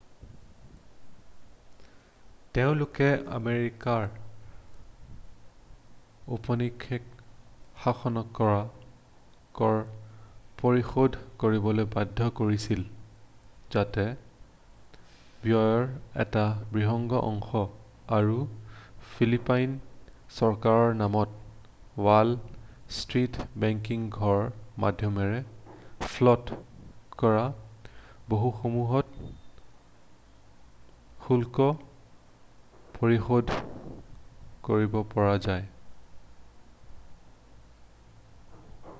তেওঁলোকে আমেৰিকাক ঔপনিৱেশিক শাসনক কৰ পৰিশোধ কৰিবলৈ বাধ্য কৰিছিল যাতে ব্যয়ৰ এটা বৃহৎ অংশ আৰু ফিলিপাইন চৰকাৰৰ নামত ৱাল ষ্ট্ৰীট ব্ৰেকিং ঘৰৰ মাধ্যমেৰে ফ্ল'ট কৰা ব'ণ্ডসমূহত শুল্ক পৰিশোধ কৰিব পৰা যায়৷